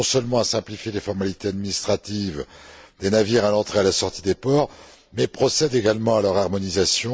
Il vise non seulement à simplifier les formalités administratives des navires à l'entrée et à la sortie des ports, mais procède également à leur harmonisation.